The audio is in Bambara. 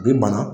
A bi ban